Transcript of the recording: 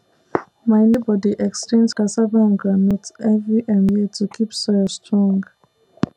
my neighbour dey exchange cassava and groundnut every um year to keep soil strong